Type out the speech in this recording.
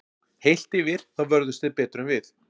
Heilt yfir þá vörðust þeir betur en við.